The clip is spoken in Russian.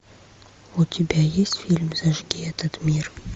у тебя есть фильм зажги этот мир